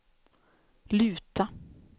luta